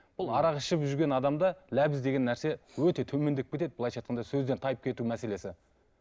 бұл арақ ішіп жүрген адамда ләбіз деген нәрсе өте төмендеп кетеді былайынша айтқанда сөзден тайып кету мәселесі